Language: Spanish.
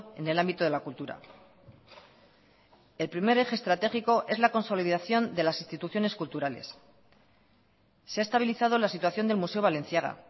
en el ámbito de la cultura el primer eje estratégico es la consolidación de las instituciones culturales se ha estabilizado la situación del museo balenciaga